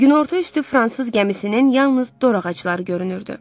Günorta üstü fransız gəmisinin yalnız dor ağacları görünürdü.